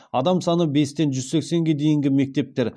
адам саны бестен жүз сексенге дейінгі мектептер